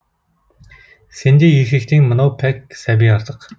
сендей еркектен мынау пәк сәби артық